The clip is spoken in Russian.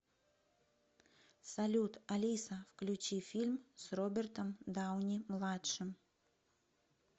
салют алиса включи фильм с робертом дауни младшим